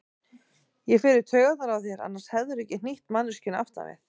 Ég fer í taugarnar á þér, annars hefðirðu ekki hnýtt manneskjunni aftan við.